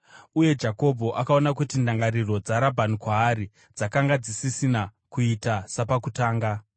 Uye Jakobho akaona kuti ndangariro dzaRabhani kwaari dzakanga dzisisina kuita sapakutanga.